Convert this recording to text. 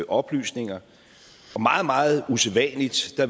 oplysninger og meget meget usædvanligt